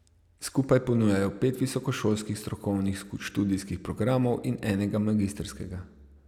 Skupaj ponujajo pet visokošolskih strokovnih študijskih programov in enega magistrskega.